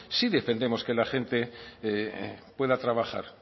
sí defendemos que la gente pueda trabajar